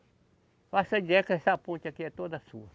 Faça ideia que essa ponte aqui é toda sua.